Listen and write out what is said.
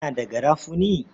Kana da garafuni?